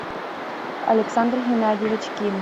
александр геннадьевич ким